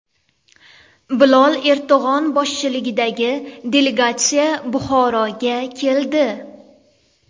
Bilol Erdo‘g‘on boshchiligidagi delegatsiya Buxoroga keldi.